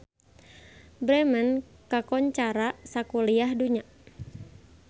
Bremen kakoncara sakuliah dunya